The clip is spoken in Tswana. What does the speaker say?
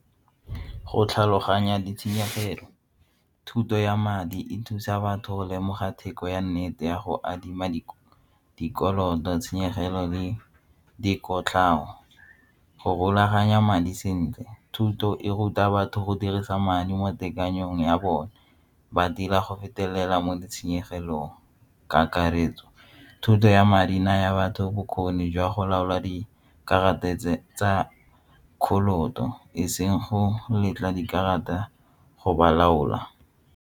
Go tlhaloganya ditshenyegelo, thuto ya madi e thusa batho go lemoga theko ya nnete ya go adima dikoloto tshenyegelo le dikotlhao go rulaganya madi sentle thuto e ruta batho go dirisa madi mo tekanyetsong ya bone ba dira go fetelela mo ditshenyegelong, kakaretso, thuto ya madi naya batho bokgoni jwa go laola dikarata tsa ka e seng go letla dikarata go ba laola.